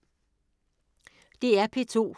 DR P2